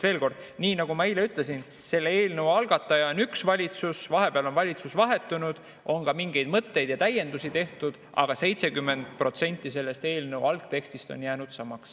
Veel kord, nii nagu ma eile ütlesin, selle eelnõu algataja on üks valitsus, vahepeal on valitsus vahetunud, on ka mingeid mõtteid ja täiendusi tehtud, aga 70% selle eelnõu algtekstist on jäänud samaks.